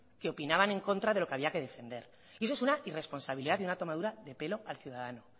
que opinaban en contra de lo que había que defender y eso es una irresponsabilidad y una tomadura de pelo al ciudadano